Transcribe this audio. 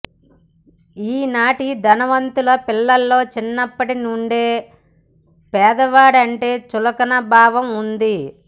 ఈనాటి ధనవంతుల పిల్లల్లో చిన్నప్పటి నుండే పేదవాడంటే చులకన భావం ఉంది